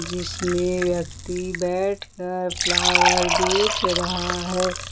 जिसमें व्यक्ति बैठकर फ्लावर बेच रहा है।